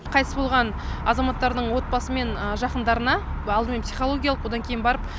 қайтыс болған азаматтардың отбасы мен жақындарына алдымен психологиялық одан кейін барып